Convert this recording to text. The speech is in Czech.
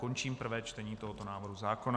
Končím prvé čtení tohoto návrhu zákona.